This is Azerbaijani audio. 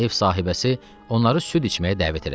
Ev sahibəsi onları süd içməyə dəvət elədi.